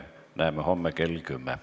Näeme homme kell 10.